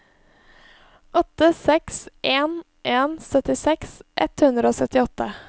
åtte seks en en syttiseks ett hundre og syttiåtte